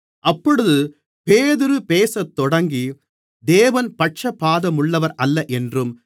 அப்பொழுது பேதுரு பேசத்தொடங்கி தேவன் பட்சபாதமுள்ளவரல்ல என்றும்